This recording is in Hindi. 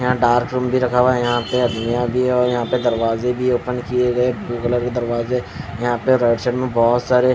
यहां डार्थ रूम भी रखा हुआ है यहां पे अदमियां भी है यहां पे दरवाज़े भी है ओपन किए गए ब्लू कलर के दरवाज़े यहां पे राइट साइड मे बहोत सारे--